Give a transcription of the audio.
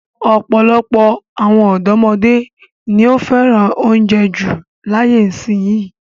Ọ̀pọ̀lọpọ̀ àwọn ọ̀dọ́mọdé ni ó fẹ́ràn oúnjẹ jù láyé ìsìnyín.